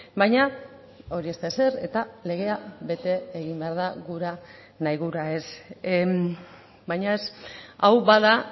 baina hori ez da ezer eta legea bete egin behar da gura nahi gura ez baina ez hau bada